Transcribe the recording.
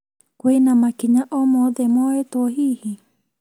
Kwĩna makinya o mothe moetwo hihi?